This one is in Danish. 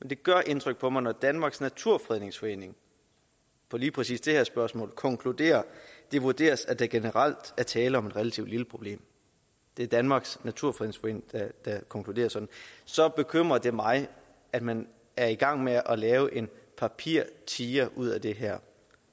det gør indtryk på mig når danmarks naturfredningsforening på lige præcis det her spørgsmål konkluderer at det vurderes at der generelt er tale om et relativt lille problem det er danmarks naturfredningsforening der konkluderer sådan så bekymrer det mig at man er i gang med at lave en papirtiger ud af det her